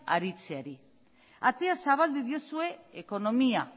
aritzeari atea zabaldu diozue ekonomia